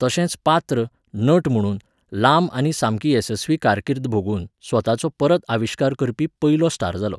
तशेंच पात्र, नट म्हुणून, लांब आनी सामकी येसस्वी कारकिर्द भोगून, स्वताचो परत आविश्कार करपी पयलो स्टार जालो.